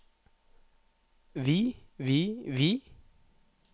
vi vi vi